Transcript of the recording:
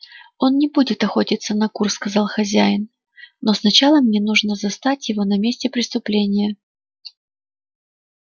он не будет охотиться на кур сказал хозяин но сначала мне нужно застать его на месте преступления